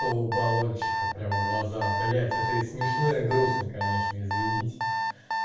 то баллончика прям в глаза блять это и смешно и грустно конечно извините